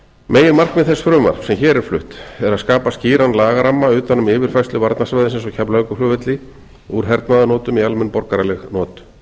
meginmarkmið þess frumvarp sem hér er flutt er að skapa skýran lagaramma utan um yfirfærslu varnarsvæðisins á keflavíkurflugvelli úr hernaðarnotum yfir í almenn borgaraleg not